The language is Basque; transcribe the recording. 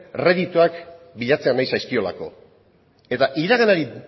erreditoak bilatzea nahi zaizkiolako eta iraganari